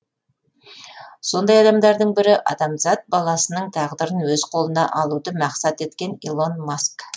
сондай адамдардың бірі адамзат баласының тағдырын өз қолына алуды мақсат еткен илон маск